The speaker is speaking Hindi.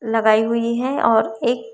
लगाई हुई है और एक--